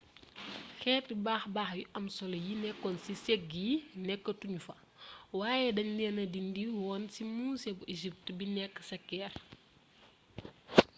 xeeti baax-baax yu am solo yi nekkoon ci sëg yi nekkatu ñu fa waaye dañ leen dindi woon ci musée bu egypt bi nekk ca caire